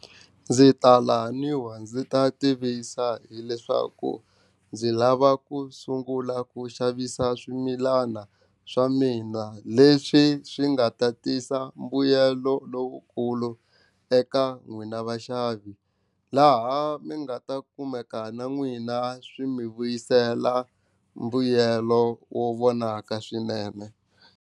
Ndzi ta laniwa ndzi ta tivisa hileswaku ndzi lava ku sungula ku xavisa swimilana swa mina leswi swi nga ta tisa mbuyelo lowukulu eka n'wina vaxavi laha mi nga ta kumeka na n'wina swi mi vuyisela mbuyelo wo vonaka swinene.